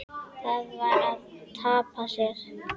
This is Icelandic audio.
Það var að tapa sér.